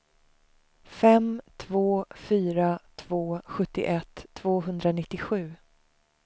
fem två fyra två sjuttioett tvåhundranittiosju